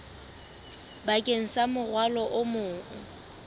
bakeng sa morwalo o mong